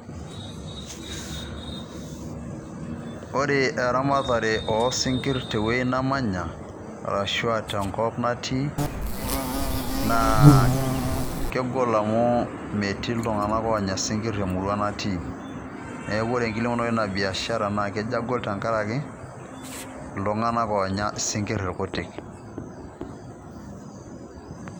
ore erematare osinkir teyieuji namanya ,ashu aa tenkop natii ,naa kegol amu meeti iltungana onya sikir emurua natii , niaku ore enkilepunoto ina biashara na kejo agol tenkaraki iltungana onyaa isinkir ilkuti.